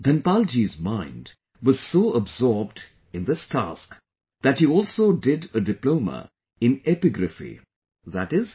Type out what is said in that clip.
Dhanpal ji's mind was so absorbed in this task that he also did a Diploma in epigraphy i